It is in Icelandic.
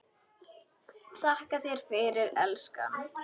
Þakka þér fyrir, elskan.